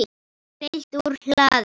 Fylgt úr hlaði